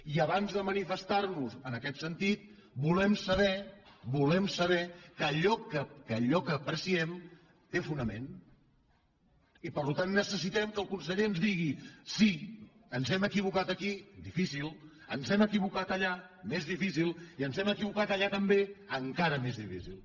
i abans de manifestar nos en aquest sentit volem saber volem saber que allò que apreciem té fonament i per tant necessitem que el conseller ens digui sí ens hem equivocat aquí difícil ens hem equivocat allà més difícil i ens hem equivocat allà també encara més difícil